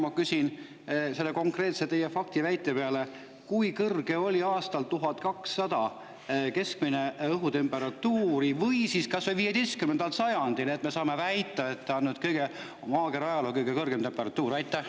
Ma küsin selle teie konkreetse faktiväite peale: kui kõrge oli keskmine õhutemperatuur aastal 1200 või siis kas või 15. sajandil, et me saame väita, et nüüd on maakera ajaloo kõige kõrgem temperatuur?